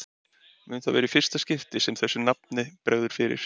Mun það vera í fyrsta skipti sem þessu nafni bregður fyrir.